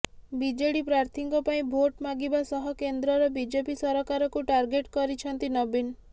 BJD ପ୍ରାର୍ଥୀଙ୍କ ପାଇଁ ଭୋଟ ମାଗିବା ସହ କେନ୍ଦ୍ରର ବିଜେପି ସରକାରକୁ ଟାର୍ଗେଟ କରିଛନ୍ତି ନବୀନ